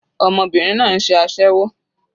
Ọmọbìnrin náà ń ṣe aséwó.